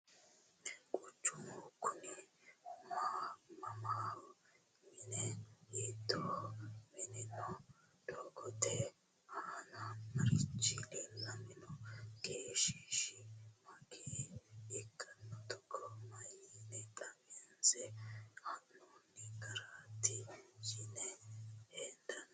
quchummu kunni mamiho? Minne hiittoha minoonni? doogotte aanna marichi leelanni noo? geeshisi mageeya ikkanno? togo mayiinni xawinse ha'noonni garaatti yine hendanni?